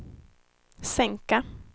sänka